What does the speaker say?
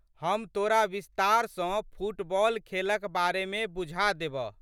हम तोरा विस्तार सँ फुटबॉल खेलक बारेमे बुझा देबह।